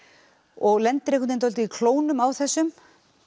og lendir í klónum á þessum